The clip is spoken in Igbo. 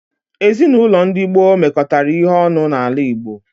Ezinaụlọ ndi gboo mekọtara ihe ọnụ n'ala Igbo.